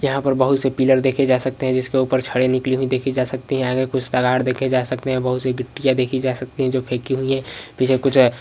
यहा पर बहुत से पीलर देखे जा सकते हे जिसके ऊपर छडे निकली हुई देखि जा सकती है आगे कुछ तगाड़ देखे जा सकते है बहुत सी गिट्टियां देखि जा सकती हे जो फेकी हुई हे पीछे कुछ अ --